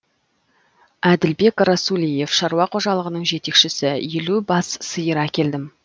әділбек расулиев шаруа қожалығының жетекшісі елу бас сиыр әкелдім